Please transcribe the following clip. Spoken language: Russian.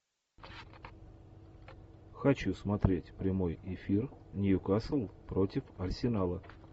хочу смотреть прямой эфир ньюкасл против арсенала